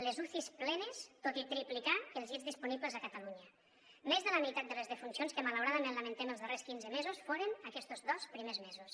les ucis plenes tot i triplicar els llits disponibles a catalunya més de la meitat de les defuncions que malauradament lamentem els darrers quinze mesos foren aquestos dos primers mesos